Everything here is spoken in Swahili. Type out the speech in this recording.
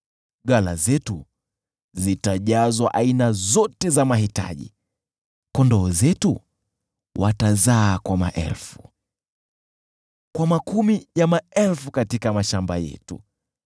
Ghala zetu zitajazwa aina zote za mahitaji. Kondoo zetu watazaa kwa maelfu, kwa makumi ya maelfu katika mashamba yetu;